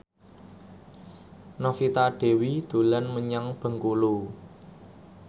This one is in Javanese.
Novita Dewi dolan menyang Bengkulu